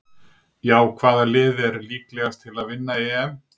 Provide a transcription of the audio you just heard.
Já Hvaða lið er líklegast til að vinna EM?